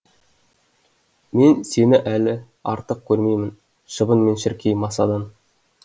мен сені әлі артық көрмеймін мен шіркей масадан